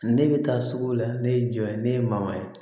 Ne bɛ taa sugu la ne ye jɔn ye ne ye maman ye